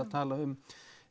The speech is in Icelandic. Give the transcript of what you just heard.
talað um